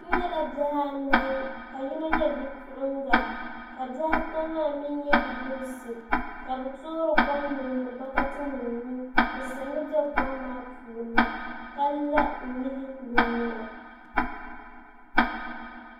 N nyɛla bihi anahi ka yino nyɛ bipuɣunga ka bihi ata maa mii nyɛ bidibsi ka bi toori kom niŋdi bokati nim ni bi siɣimi bɛ kom maa puuni ka la n nyili bi nyina